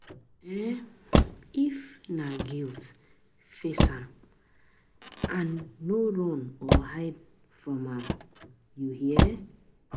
um If na guilt, face um am no run or hide from am um